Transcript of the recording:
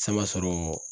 San sɔrɔ